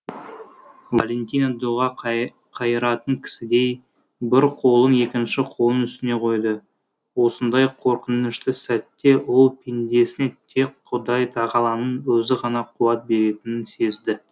валентина дұға қайыратын кісідей бір қолын екінші қолының үстіне қойды осындай қорқынышты сәтте ол пендесіне тек құдай тағаланың өзі ғана қуат беретінін сезді